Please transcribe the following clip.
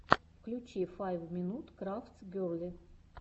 включи файв минут крафтс герли